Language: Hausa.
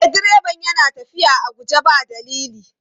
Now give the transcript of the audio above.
E, direban yana tafiya a guje ba dalili.